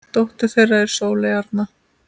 Dóttir þeirra er Sóley Arna.